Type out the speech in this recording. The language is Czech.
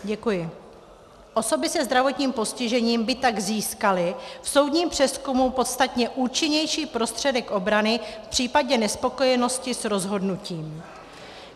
Osoby se zdravotním postižením by tak získaly v soudním přezkumu podstatně účinnější prostředek obrany v případě nespokojenosti s rozhodnutím.